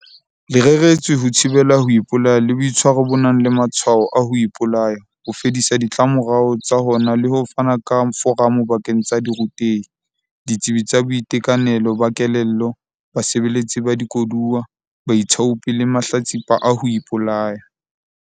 Le reretswe ho thibela ho ipolaya le boitshwaro bo nang le matshwao a ho ipolaya, ho fedisa ditlamorao tsa hona le ho fana ka foramo bakeng sa dirutehi, ditsebi tsa boitekanelo ba kelello, basebeletsi ba dikoduwa, baithaopi le mahlatsipa a ho ipolaya.